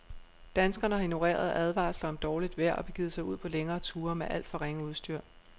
Danskerne har ignoreret advarsler om dårligt vejr og begivet sig ud på længere ture med alt for ringe udstyr.